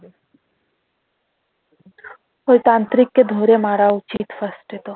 ওই তান্ত্রিক কে ধরে মারা উচিত first এ তো